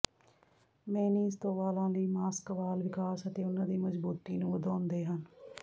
mayonnaise ਤੋਂ ਵਾਲਾਂ ਲਈ ਮਾਸਕ ਵਾਲ ਵਿਕਾਸ ਅਤੇ ਉਨ੍ਹਾਂ ਦੀ ਮਜਬੂਤੀ ਨੂੰ ਵਧਾਉਂਦੇ ਹਨ